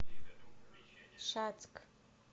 шацк